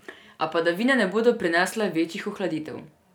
A padavine ne bodo prinesle večjih ohladitev.